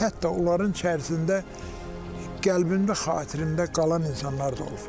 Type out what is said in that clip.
Hətta onların içərisində qəlbində xatirində qalan insanlar da olub.